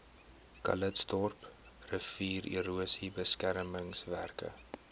calitzdorp riviererosie beskermingswerke